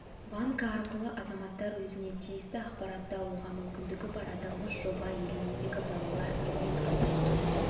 банкі арқылы азаматтар өзіне тиісті ақпаратты алуға мүмкіндігі бар аталмыш жоба еліміздегі балалар үйін азайту